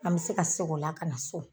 An me se ka segin o la kana so